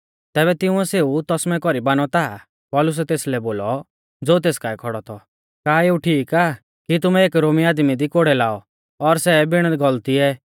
तैबै तिंउऐ सेऊ तसमै कौरी बानौ ता पौलुसै तेसलै बोलौ ज़ो तेस काऐ खौड़ौ थौ का एऊ ठीक आ कि तुमै एक रोमी आदमी दी कोड़ै लाऔ और सै भी बिण गलतिऐ